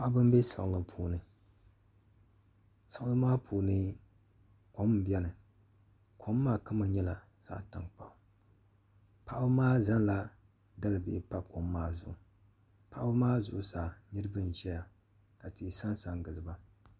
Paɣaba n bɛ siɣili puuni siɣili maa puuni kom n biɛni kom maa kama nyɛla zaɣ tankpaɣu paɣaba maa zaŋla dalibihi pa kom maa zuɣu paɣaba maa zuɣusaa niraba n ʒɛya ka tihi sansa n giliba